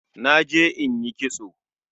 Naje in yi kitso